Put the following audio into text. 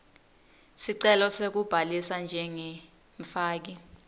sicelo sekubhalisa njengemfaki